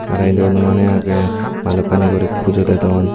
aro edu anumaney agey balokkani guri pujo dedon.